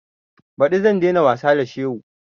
Ɓadi zan dai na wasa da shehu